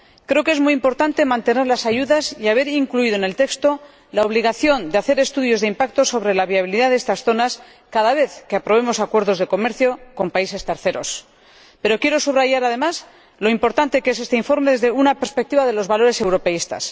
Creo que es muy importante mantener las ayudas y haber incluido en el texto la obligación de hacer estudios de impacto sobre la viabilidad de estas zonas cada vez que aprobemos acuerdos de comercio con terceros países, pero quiero subrayar, además, lo importante que es este informe desde la perspectiva de los valores europeístas.